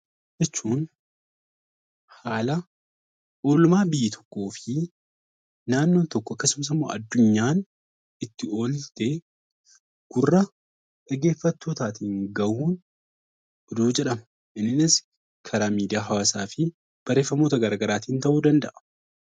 Oduu jechuun haala oolmaa biyya tokkoo fi naannoon tokko akkasumas addunyaan itti oolte gurra dhaggeeffattootaatiin gahuun oduu jedhama. Innis karaa miidiyaa hawaasaa fi barreeffamoota garaagaraatiin ta'uu danda'a.